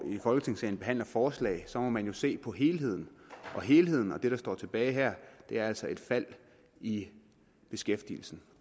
i folketingssalen behandler forslag må man jo se på helheden og helheden og det der står tilbage her er altså et fald i beskæftigelsen